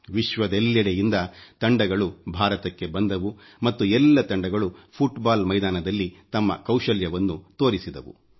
ವಿಶ್ವದೆಲ್ಲೆಡೆಯಿಂದ ತಂಡಗಳು ಭಾರತಕ್ಕೆ ಬಂದವು ಮತ್ತು ಎಲ್ಲ ತಂಡಗಳು ಫುಟ್ ಬಾಲ್ ಮೈದಾನದಲ್ಲಿ ತಮ್ಮ ಕೌಶಲ್ಯವನ್ನು ತೋರಿಸಿದವು